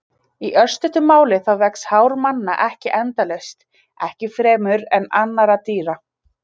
Í örstuttu máli þá vex hár manna ekki endalaust, ekki frekar en annarra dýra.